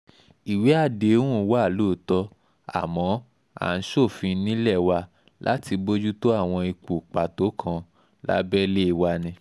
ìwé àdéhùn àdéhùn wa lóòótọ́ àmọ́ à ń ṣòfin nílé wa láti bójútó àwọn ipò pàtó kan lábẹ́lẹ̀ wa ni